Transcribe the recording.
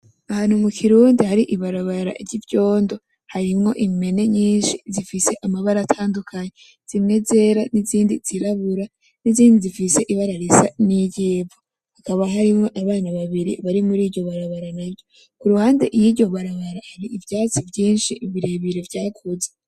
Ahantu mu kirundi hari ibarabara ry’ivyondo, harimwo impene nyinshi zifise amabara atandukanye, zimwe zera n’izindi zirabura n’izindi zifise ibara risa n’iryivu. Hakaba harimwo abana babiri bari muriryo barabara. Ku ruhande yiryo barabara hari ivyatsi vyinshi birebire vyakuze.